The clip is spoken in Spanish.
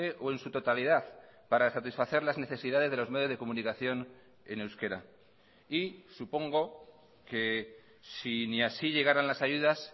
o en su totalidad para satisfacer las necesidades de los medios de comunicación en euskera y supongo que si ni así llegaran las ayudas